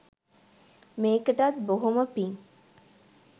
මේකටත් බොහොම පිං.